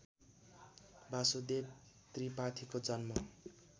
वासुदेव त्रिपाठीको जन्म